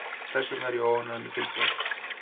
Þess vegna er ég óánægður með tilboðið.